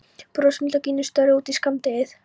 Brosmildar gínur störðu út í skammdegið.